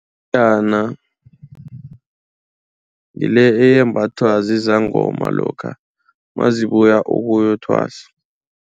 Iyerhana ngile eyembathwa zizangoma lokha nazibuya ukuyokuthwasa.